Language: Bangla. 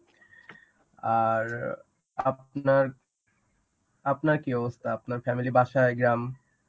আর আপনার আপনার কি অবস্থা আপনার family বাসায় গ্রাম.